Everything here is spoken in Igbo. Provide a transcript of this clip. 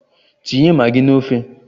Tinye magi n'ofe!